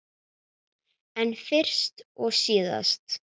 En fyrst og síðast.